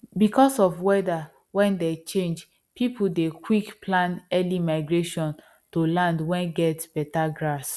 because of weather wen dey change people dey quick plan early migration to land wen get better grass